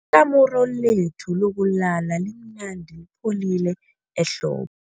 Ikamuru lethu lokulala limnandi lipholile ehlobo.